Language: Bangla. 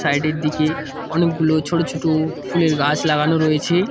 সাইড -এর দিকে অনেকগুলো ছোটো ছোটো ফুলের গাছ লাগানো রয়েছে।